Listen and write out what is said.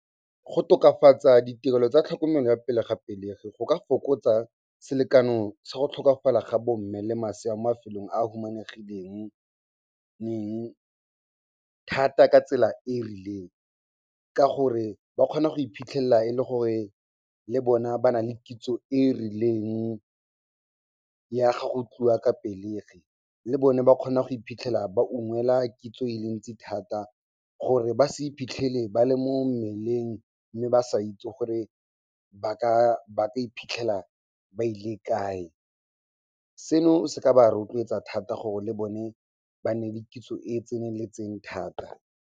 Go tokafatsa ditirelo tsa tlhokomelo ya pele ga pelegi go ka fokotsa selekano sa go tlhokafala ga bo mme le masea mo mafelong a humanegileng thata ka tsela e e rileng ka gore ba kgona go iphitlhela e le gore le bona ba nale kitso e e rileng ya gago tliwa ka pelegi. Le bone ba kgona go iphitlhela ba ungwela kitso e le ntsi thata gore ba se iphitlhele ba le mo mmeleng mme ba sa itse gore ba ka iphitlhela ba ile kae. Seno se ka ba rotloetsa thata gore le bone ba nne le kitso e e tseneletseng thata.